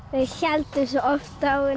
við héldum svo oft á henni